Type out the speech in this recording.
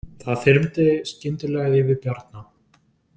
Það þyrmdi skyndilega yfir Bjarna.